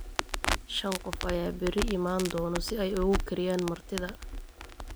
Shan qof ayaa berri iman doona si ay ugu kariyaan martida